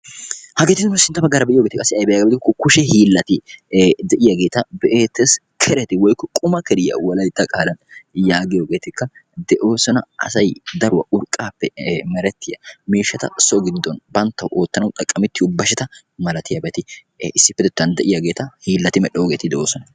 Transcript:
Hageeti nu sintta baggaara be'iyogeeti qassi ayibee giyaba gidikko kushe hiillata be'eettes. Kereti woyikko quma keriya wolayitta qaalan yaagiyogeetikka de'oosona. Asay daruwa urqqaappe merettiya miishshata so giddon banttawu oottanawu xaqqamettiyo basheta malatiyabati issippetettan de'iyageeta hiillati medhdhoogeeti de'oosona.